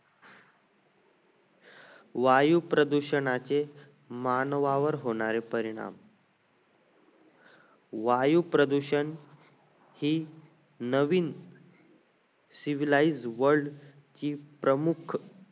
वायू प्रदूषणाचे मानवावर होणारे परिणाम वायू प्रदूषण ही नवीन civilized world ची प्रमुख